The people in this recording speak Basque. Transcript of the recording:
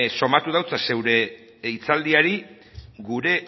somatu dut zeure hitzaldiari gure